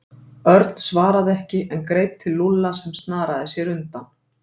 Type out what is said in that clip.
Örn svaraði ekki en greip til Lúlla sem snaraði sér undan.